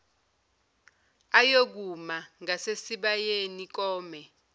ayokuma ngasesibayeni kome